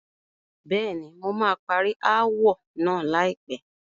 Bẹ́ẹ̀ni, mo máa parí ááwọ̀ náà láìpẹ́.